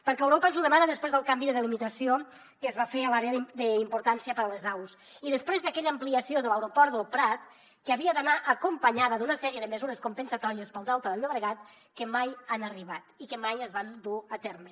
perquè europa ens ho demana després del canvi de delimitació que es va fer a l’àrea d’importància per a les aus i després d’aquella ampliació de l’aeroport del prat que havia d’anar acompanyada d’una sèrie de mesures compensatòries per al delta del llobregat que mai han arribat i que mai es van dur a terme